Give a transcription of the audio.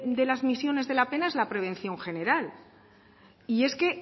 de las misiones de la pena es la prevención general y es que